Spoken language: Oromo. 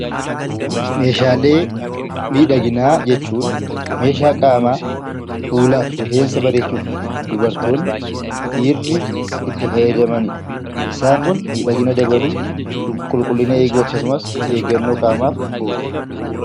Meeshaalee miidhaginaa jechuun meeshaa qaamaa fuulaa fi rifeensa bareechuuf dubartoonni dhiirri itti fayyadamanidha. Isaan kun miidhagina dabaluu qulqullina qaamaa eeguu akkasumas eeggannoo qaamaaf oolu.